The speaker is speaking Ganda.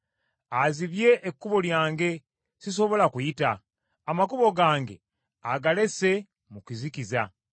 Azibye ekkubo lyange sisobola kuyita; amakubo gange agalese mu kizikiza.